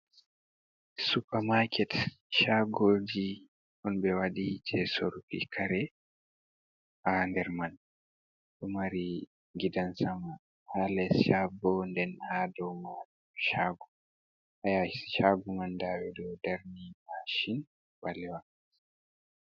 Supa maket, shagoji, on ɓe waɗi je soruki kare, ha nder man, ɗo mari gidan sama, ha les shago nden ha ɗo man shago, ha yasi shago man nɗa ɓo darni mashin ɓalewa.